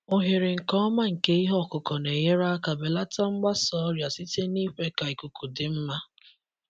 Oghere nke ọma nke ihe ọkụkụ na-enyere aka belata mgbasa ọrịa site n'ikwe ka ikuku dị mma.